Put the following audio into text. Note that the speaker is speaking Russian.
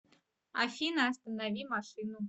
афина останови машину